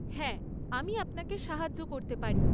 হ্যাঁ, আমি আপনাকে সাহায্য করতে পারি।